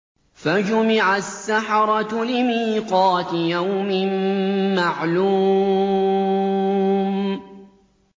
فَجُمِعَ السَّحَرَةُ لِمِيقَاتِ يَوْمٍ مَّعْلُومٍ